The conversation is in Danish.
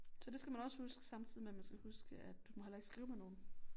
Så det skal man også huske samtidig med man skal huske at du må heller ikke skrive med nogen